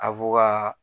Abu ka